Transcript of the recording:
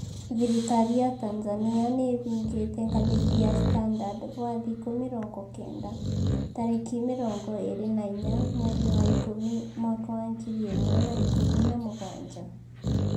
Thirikari ya Tanzania nĩĩhingĩte Ngathĩti ya Standard gwa thikũ mĩrongo kenda tarĩki mĩrongo ĩrĩ na inya mweri wa ikũmi mwaka wa ngiri ĩmwe na ikũmi na mũgwanja